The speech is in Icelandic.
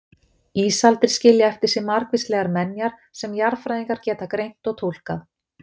Ísaldir skilja eftir sig margvíslegar menjar sem jarðfræðingar geta greint og túlkað.